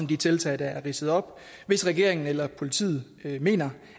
de tiltag der er ridset op hvis regeringen eller politiet mener